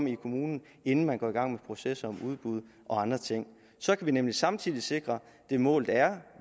i kommunen inden man går i gang med proces og udbud og andre ting så kan vi nemlig samtidig sikre det mål der er